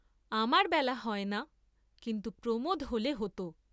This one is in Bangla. আমার বেলা হয় না, কিন্তু প্রমোদ হোলে হত।